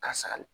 Ka sali